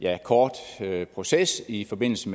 ja kort proces i forbindelse